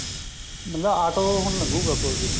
ਮਤਲਬ auto ਹੁਣ ਲੰਗੁਗਾ ਕੋਲ ਦੀ